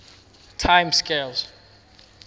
time scales